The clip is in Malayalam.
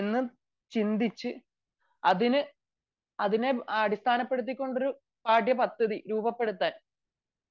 അങ്ങനെ ചിന്തിച്ചു അതിനെ അടിസ്ഥാനപെടുത്തികൊണ്ട് പാഠ്യ പദ്ധതി രൂപപ്പെടുത്താൻ